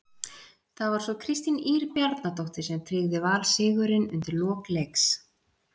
Það var svo Kristín Ýr Bjarnadóttir sem tryggði Val sigurinn undir lok leiks.